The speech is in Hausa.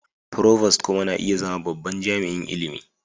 Provost kuma na iya zama babban jami'in ilimi.